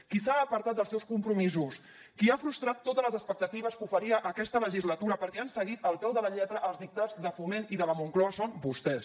qui s’ha apartat dels seus compromisos qui ha frustrat totes les expectatives que oferia aquesta legislatura perquè han seguit al peu de la lletra els dictats de foment i de la moncloa són vostès